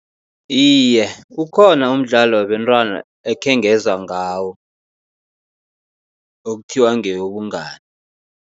Iye, ukhona umdlalo wabentwana ekhengezwa ngawo, ekuthiwa ngewobungani.